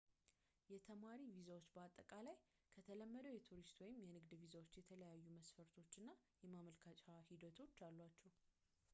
የተማሪ ቪዛዎች በአጠቃላይ ከተለመደው የቱሪስት ወይም የንግድ ቪዛዎች የተለያዩ መስፈርቶች እና የማመልከቻ ሂደቶች አሏቸው